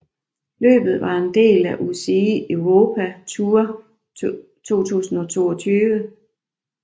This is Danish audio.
Løbet var en del af UCI Europe Tour 2022